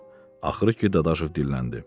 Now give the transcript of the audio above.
Axırı ki, Dadaşov dilləndi.